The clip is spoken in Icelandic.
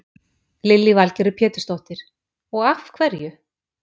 Lillý Valgerður Pétursdóttir: Og af hverju?